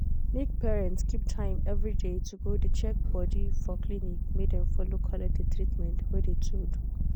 make parents keep time everyday to de go check body for clinic make dem follow collect de treatment wey de to do.